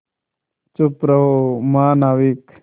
चुप रहो महानाविक